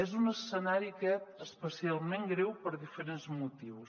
és un escenari aquest especialment greu per diferents motius